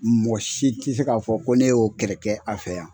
Mɔgɔ si ti se ka fɔ ko ne y'o kɛlɛ kɛ a fɛ yan.